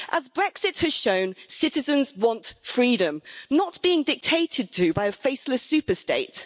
As Brexit has shown, citizens want freedom, not being dictated to by a faceless superstate.